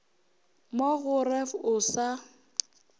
mo go ref o sa